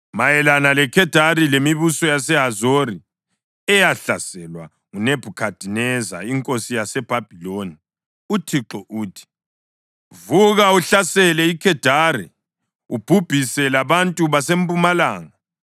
Mayelana leKhedari lemibuso yaseHazori, eyahlaselwa nguNebhukhadineza inkosi yaseBhabhiloni: UThixo uthi: “Vuka uhlasele iKhedari ubhubhise labantu baseMpumalanga.